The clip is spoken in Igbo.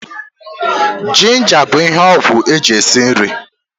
Jinja bụ ihe ọgwụ eji esi nri